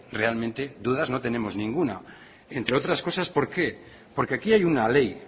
realmente dudas no tenemos ninguna entre otras cosas por qué porque aquí hay una ley